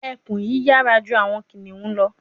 Ekun yiyara ju awọn kiniun lọ